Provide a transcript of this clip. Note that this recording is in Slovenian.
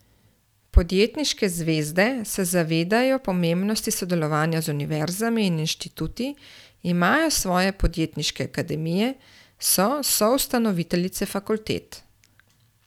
Podjetniške zvezde se zavedajo pomembnosti sodelovanja z univerzami in inštituti, imajo svoje podjetniške akademije, so soustanoviteljice fakultet ...